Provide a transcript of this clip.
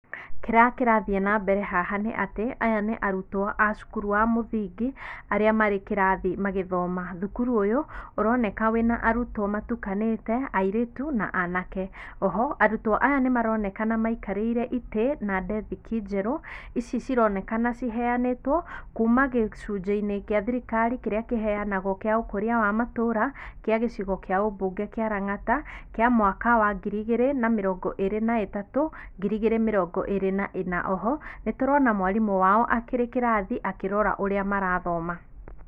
Kĩrĩa kĩrathiĩ na mbere haha nĩ atĩ aya nĩ arutwo a cukuru wa mũthingi arĩa marĩ kĩrathi magĩthoma. Thukuru ũyũ ũroneka wĩ na arutwo matukanĩte airitu na anake. Oho arutwo aya nĩ maronekana maikarĩire itĩ na ndethiki njeru, ici cironekana ciheanĩtwo kuma gĩcunjĩ-inĩ kĩa thirikari kĩrĩa kĩheanagwo kĩa ũkũria wa matũũra kĩa gĩcigo kĩa ũmbunge kĩa Langata, kĩa mwaka wa ngiri igĩrĩ na mĩrongo ĩrĩ na ĩtatũ, ngiri igĩrĩ mĩrongo ĩrĩ na ĩna. Oho, nĩ tũrona mwarimũ wao akĩrĩ kĩrathi akĩrora ũrĩa marathoma.